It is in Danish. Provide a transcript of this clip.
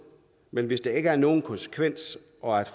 men hvis der ikke er nogen konsekvens og